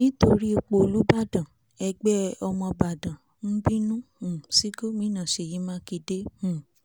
nítorí ipò olùbàdà ẹgbẹ́ ọmọbàdàn bínú um sí gómìnà ṣèyí mákindé um